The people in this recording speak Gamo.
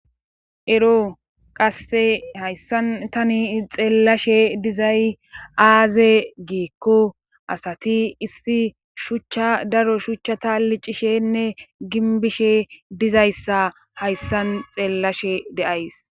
Ero qasse hayssan tani xeellashe dizay aaze geekko asati issi shuchcha daro shuchchata liccishshenne ginbishshe dizayssa hayssan xeellashe de'ays